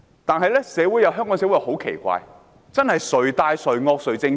但是，香港社會很奇怪，真是"誰大誰惡誰正確"。